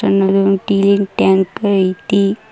ಆಮೇಲೆ ಒಂದು ಟೀಲಿನ್ ಟ್ಯಾಂಕ್ ಐತಿ.